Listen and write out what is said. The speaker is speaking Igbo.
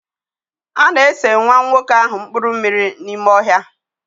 A na-ese nwa nwoke ahụ mpuru mmiri n'ime ọhịa.